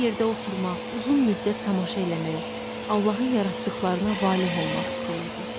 Bir yerdə oturmaq, uzun müddət tamaşa eləmək, Allahın yaratdıqlarına valeh olmaq istəyirdi.